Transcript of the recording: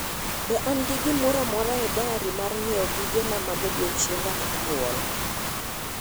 Be an gi gimora amora e dayari mar ng'ieo gige na mag odio'chienga mar nyuol